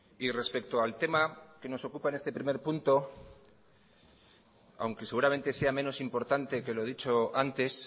y respecto al tema que nos ocupa en este primer punto aunque seguramente sea menos importante que lo dicho antes